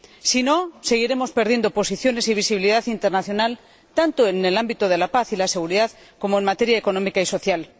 si no, seguiremos perdiendo posiciones y visibilidad internacional tanto en el ámbito de la paz y la seguridad como en materia económica y social.